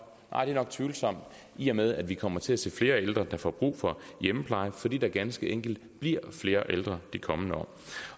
tvivlsomt i og med at vi kommer til at se flere ældre der får brug for hjemmepleje fordi der ganske enkelt bliver flere ældre de kommende år